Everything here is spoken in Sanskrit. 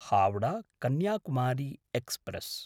हावडा–कन्याकुमारी एक्स्प्रेस्